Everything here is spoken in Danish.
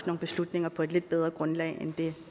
nogle beslutninger på et lidt bedre grundlag end det